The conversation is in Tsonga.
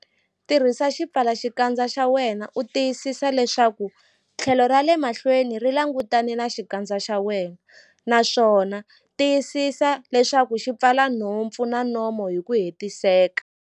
Tirhisa xipfalaxikandza xa wena u tiyisisa leswaku tlhelo ra le mahlweni ri langutane na xikandza xa wena, naswona tiyisisa leswaku xi pfala nhompfu na nomo hi ku hetiseka.